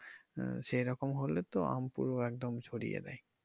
আহ সেরকম হলে তো আম পুরো একদম ছড়িয়ে যাবে।